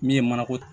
Min ye manako